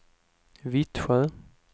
Vittsjö